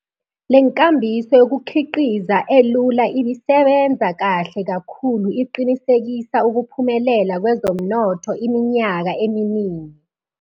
Lenkambiso yokukhiqiza elula ibisebenza kahle kakhulu iqinisekisa ukuphumelela kwezomnotho iminyaka eminingi.